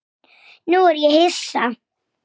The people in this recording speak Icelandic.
Háð miklu fremur.